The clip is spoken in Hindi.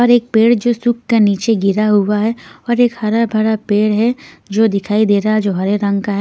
और एक पेड़ जो सूख का नीचे गिरा हुआ है और एक हरा भरा पेड़ है जो दिखाई दे रहा है जो हरे रंग का है।